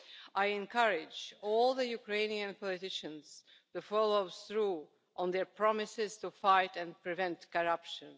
I encourage all the Ukrainian politicians to follow through on their promises to fight and prevent corruption.